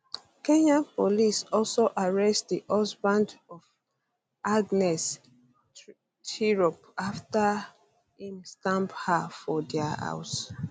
kenyan police also arrest di husband of agnes tirop afta afta im stab her for dia house